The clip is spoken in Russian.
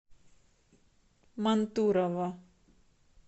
мантурово